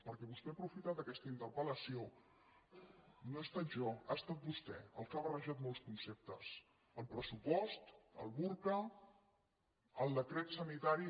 perquè vostè ha aprofitat aquesta interpel·jo ha estat vostè el que ha barrejat molts conceptes el pressupost el burca el decret sanitari